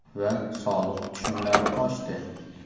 Va soliq tushumlari oshdi”.